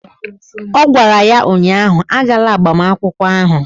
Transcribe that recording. Ọ gwara ya ụnyaahụ "Agala agbamakwụkwọ ahụ"!